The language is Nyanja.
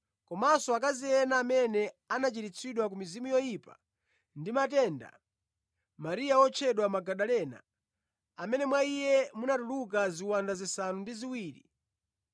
komanso akazi ena amene anachiritsidwa ku mizimu yoyipa ndi matenda: Mariya, wotchedwa Magadalena, amene mwa iye munatuluka ziwanda zisanu ndi ziwiri;